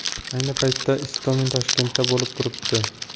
Ayni paytda Istomin Toshkentda bo‘lib turibdi.